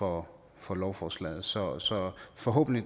over for lovforslaget så så forhåbentlig